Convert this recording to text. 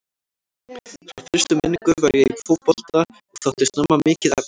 Frá fyrstu minningu var ég í fótbolta og þótti snemma mikið efni.